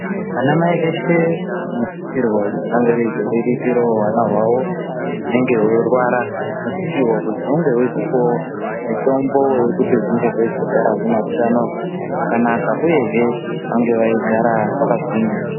Anamai eshe anosisirwe kuzi ange eyizoriritirawo hwana hwavo hunenge hweirwara. Hunosisirwa kuzi hunge hweizopuwawo mitombo yekuti hunge hweizogara hune hutano hwakanaka uyehe vange veigara vakagwinya.